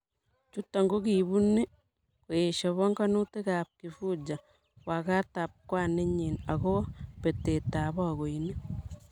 Chuto ko kibuni koesio panganutik ab Kifuja, wakatab kwaninyi agobo betetap bakoinik